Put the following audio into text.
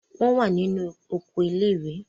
wọ́n wà ní inú oko ilé-ìwé.